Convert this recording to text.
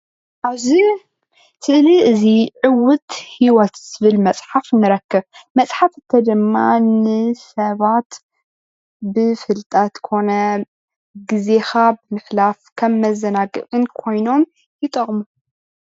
ኣብዚ ስእሊ እዚ ዕውት ህይወት ዝብል መፅሓፍ ንረክብ። መፅሓፍ ድማ ንሰባት ብፍልጠት ኮነ ግዜካ ብምሕላፍ ከም መዘናግዒ ኮይኖም ይጠቅሙ።